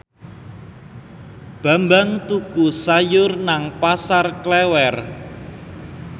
Bambang tuku sayur nang Pasar Klewer